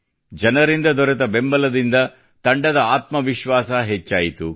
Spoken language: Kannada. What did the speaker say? ಜನರಿಂದ ದೊರೆತ ಬೆಂಬಲಿಂದ ತಂಡದ ಆತ್ಮವಿಶ್ವಾಸ ಹೆಚ್ಚಾಯಿತು